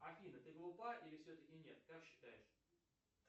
афина ты глупа или все таки нет как считаешь